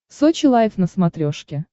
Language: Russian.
сочи лайв на смотрешке